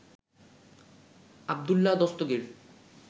Abdullah Dastagir